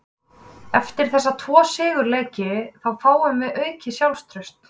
Eftir þessa tvo sigurleiki þá fáum við aukið sjálfstraust.